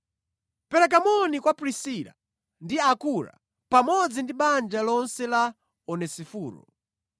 Pereka moni kwa Prisila ndi Akura pamodzi ndi banja lonse la Onesiforo.